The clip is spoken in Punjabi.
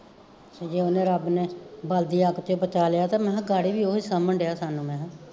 ਜੇ ਓਹਨੇ ਰੱਬ ਨੇ ਬਲਦੀ ਅੱਗ ਚੋਂ ਬਚਾਲਿਆ, ਤਾਂ ਮਹਾਂ ਗਾੜੀ ਵੀ ਓਹੀਂ ਸਾਂਬਣਡਿਆ ਸਾਨੂੰ ਮਹਾਂ